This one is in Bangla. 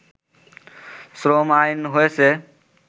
শ্রম আইন হয়েছে